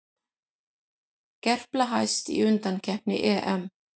Gerpla hæst í undankeppni EM